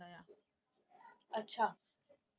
ਅੱਛਾ।